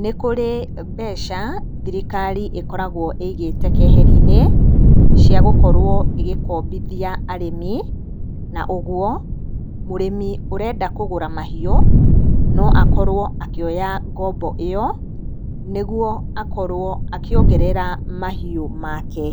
nĩ kũrĩ mbeca thirikari ĩkoragwo ĩigĩte keheri-inĩ cia gũkorwo ĩgĩkombithia arĩmi, na ũguo mũrĩmi ũrenda kũgũra mahiũ no akorwo akĩoya ngombo ĩyo, nĩguo akorwo akĩongerera mahiũ make.